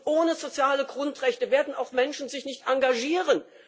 Ohne soziale Grundrechte werden auch Menschen sich nicht engagieren.